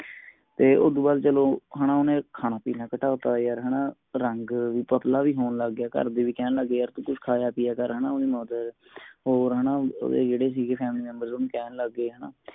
ਤੇ ਉਦੋਂ ਬਾਦ ਚਲੋ ਉਨੇ ਖਾਣਾ ਪੀਨਾ ਘਟਾਤਾ ਯਾਰ ਹੰਨਾ ਰੰਗ ਵੀ ਪਤਲਾ ਵੀ ਹੋਣ ਲੱਗ ਗਯਾ ਘਰ ਦੇ ਵੀ ਕਹਿਣ ਲੱਗ ਗਏ ਯਾਰ ਤੂੰ ਕੁਛ ਖਾਯਾ ਪਿਆ ਕਰ ਹੇਨਾ ਓਹਦੇ ਹੋਰ ਹੇਨਾ ਓਹਦੇ ਜੇੜੇ ਸੀਗੇ family member ਓਹਨੂੰ ਕਹਿਣ ਲੱਗ ਗਏ